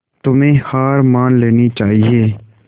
तुम्हें हार मान लेनी चाहियें